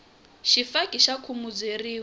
xifaki xa khumuzeriwa